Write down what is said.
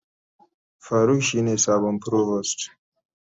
Faruk shine sabon provost.